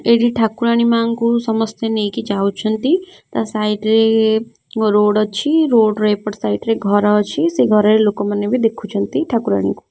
ଏଇଠି ଠାକୁରାଣୀ ମା ଙ୍କୁ ସମସ୍ତେ ନେଇକି ଯାଉଛନ୍ତି ତା ସାଇଡ୍‌ ରେ ରୋଡ୍‌ ଅଛି ରୋଡ୍‌ ର ଏପଟ ସାଇଡ୍‌ ରେ ଘର ଅଛି ସେ ଘରର ଲୋକମାନେ ବି ଦେଖୁଛନ୍ତି ଠାକୁରାଣୀଙ୍କୁ।